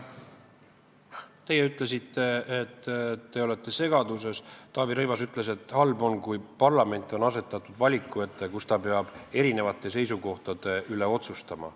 Te ütlesite, et te olete segaduses, Taavi Rõivas ütles, et on halb, kui parlament on asetatud valiku ette, kui ta peab eri seisukohtade üle otsustama.